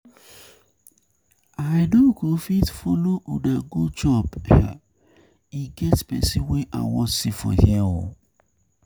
I no go um fit follow una go chop, e get person wey I wan see for here.